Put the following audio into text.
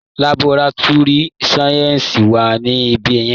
Laborátúrì sáyẹ́ǹsì wà ní ibẹ̀ yẹn.